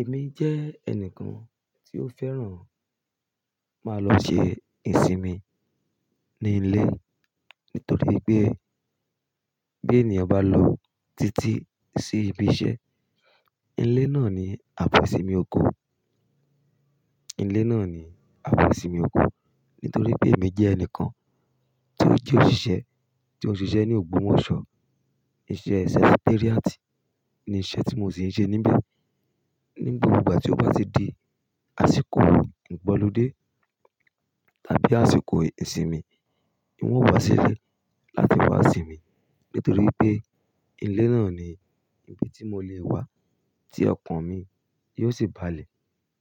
Èmi jẹ́ ẹnìkan tí ó fẹ́ràn máa lọ ṣe ìsinmi ní ilé nítorí pé bí ènìyàn bá lọ títí sí ibi iṣẹ́, ilé náà ni àbọ̀ ìsinmi oko. Ilé náà ni àbọ̀ ìsinmi oko nítorí pé èmi jẹ́ ẹnìkan tí ó je òṣìṣẹ́, tí ó ń ṣe iṣẹ́ ní ògbómọ̀ṣọ́. Iṣẹ́ secretariat ni iṣẹ́ tí mo sì ń ṣe níbi. Ní gbogbo ìgbà tí ó bá ti di àsìkò igbọ̀ludé tàbí àsìkò ìsinmi, ń ò wá sílẹ̀ láti wá sinmi nítorí pé ilé náà ni ibi tí mo lè wá tí ọkàn mi yóò sì balẹ̀,